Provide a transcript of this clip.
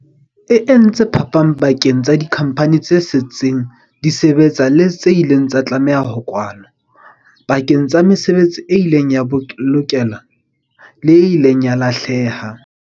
E entse phapang pakeng tsa dikhampani tse setseng di sebetsa le tse ileng tsa tlameha ho kwalwa, pakeng tsa mesebetsi e ileng ya bolokeha le e ileng ya lahleha.